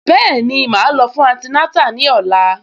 Bẹ́ẹ̀ni, màá lọ fún antinátà ní ọ̀la